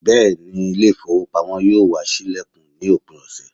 Beeni, ile ifowopamo yoo wa silekun ni opin ose